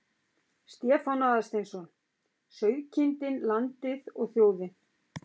Stefán Aðalsteinsson: Sauðkindin, landið og þjóðin.